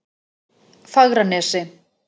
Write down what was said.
Fagranesi